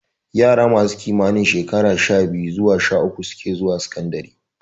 Yara masu kimanin shekaru sha-biyu zuwa sha-uku suke zuwa sakandare.